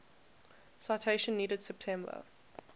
citation needed september